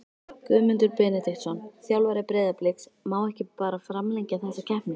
Guðmundur Benediktsson, þjálfari Breiðabliks Má ekki bara framlengja þessa keppni?